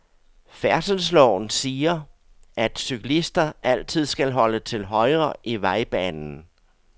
Færdselsloven siger, at cyklister altid skal holde til højre i vejbanen.